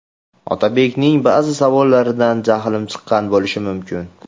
Otabekning ba’zi savollaridan jahlim chiqqan bo‘lishi mumkin.